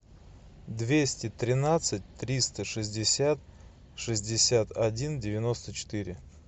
двести тринадцать триста шестьдесят шестьдесят один девяносто четыре